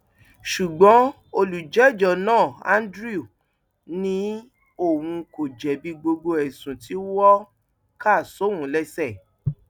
ṣùgbọn olùjẹjọ náà andrew ni òun kò jẹbi gbogbo ẹsùn tí wọn kà sóun lẹsẹ